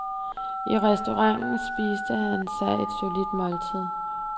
I restauranten spiste han sig et solidt måltid.